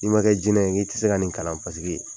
I ma kɛ jinɛ ye ŋ'i tise ka nin kalan o paseke